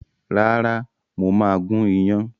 Rárá mo máa gún iyán